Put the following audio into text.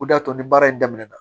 O de y'a to ni baara in daminɛna